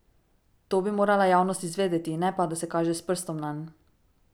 To bi morala javnost izvedeti, ne pa, da se kaže s prstom nanj.